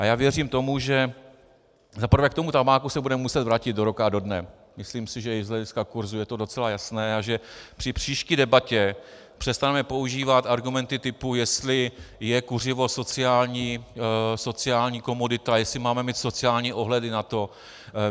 A já věřím tomu, že za prvé k tomu tabáku se budeme muset vrátit do roka a do dne, myslím si, že i z hlediska kursu je to docela jasné, a že při příští debatě přestaneme používat argumenty typu, jestli je kuřivo sociální komodita, jestli máme mít sociální ohledy na to.